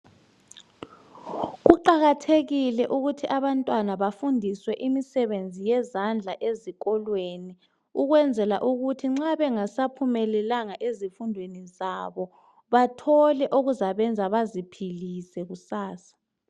Kuqakathekile ukuthi abantwana bafundiswe imisebenzi yezandla ezikolweni ukwenzela ukuthi nxa bengasaphumelelanga ezifundweni zabo bathole okuzabenza baziphilise kusasa.